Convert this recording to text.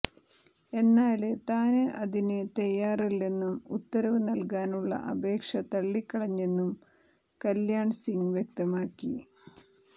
എന്നാല് താന് അതിന് തയ്യാറായില്ലെന്നും ഉത്തരവ് നല്കാനുള്ള അപേക്ഷ തള്ളിക്കളഞ്ഞെന്നും കല്യാണ്സിംഗ് വ്യക്തമാക്കി